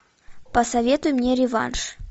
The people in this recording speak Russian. посоветуй мне реванш